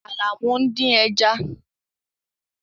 Àlàmú ń dín ẹja.